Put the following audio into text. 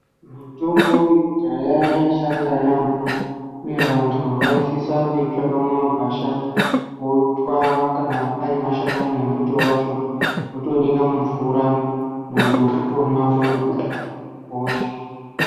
Mutombo wekudhaya yaishanda yambo uye vantu vaisisa kuitsvaka mumagwasha votwa kana pane mashakani embuti otonyika mumvura muntu otomwa otomira hosha.